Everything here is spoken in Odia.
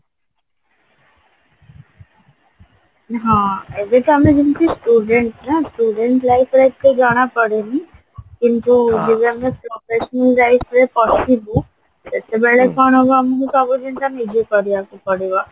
ହଁ ଏବେ ତ ଆମେ ଯେମତି student ନା student life ରେ ଏତେ ଜଣା ପଡେନି କିନ୍ତୁ ଯଦି ଆମେ professional life ରେ ପସିବୁ ସେତେବେଳେ କଣ ହବ ସବୁ ଜିନିଷ ନିଯେ କରିବାକୁ ପଡିବ